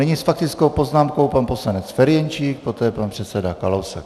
Nyní s faktickou poznámkou pan poslanec Ferjenčík, poté pan předseda Kalousek.